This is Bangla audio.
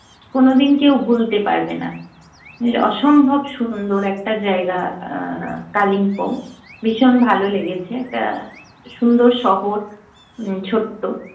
কোনোদিন কেউ ভুলতে পারবে না। অসম্ভব সুন্দর একটা জায়গা কালিম্পং ভীষণ ভালো লেগেছে। একটা সুন্দর শহর, ছোট্ট